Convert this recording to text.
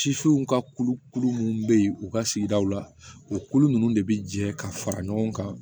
Sifinw ka kulukulu minnu bɛ yen u ka sigidaw la o kulu ninnu de bɛ jɛ ka fara ɲɔgɔn kan